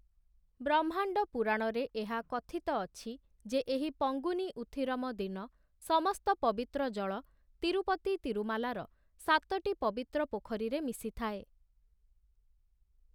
ବ୍ରହ୍ମାଣ୍ଡ ପୁରାଣରେ ଏହା କଥିତ ଅଛି, ଯେ ଏହି ପଙ୍ଗୁନି ଉଥିରମ ଦିନ ସମସ୍ତ ପବିତ୍ର ଜଳ ତିରୁପତି ତିରୁମାଲାର ସାତଟି ପବିତ୍ର ପୋଖରୀରେ ମିଶିଥାଏ ।